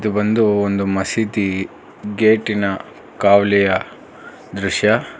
ಒಂದು ಒಂದು ಮಸೀದಿ ಗೇಟಿನ ಕಾವಲಿಯ ದೃಶ್ಯ.